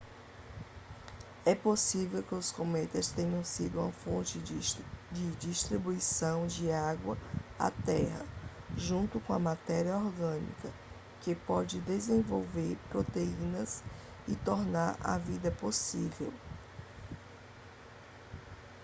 é possível que os cometas tenham sido uma fonte de distribuição de água à terra junto com a matéria orgânica que pode desenvolver proteínas e tornar a vida possível